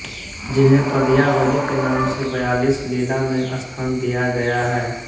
जिन्हें पदयावली के नाम से बयालीस लीला में स्थान दिया गया है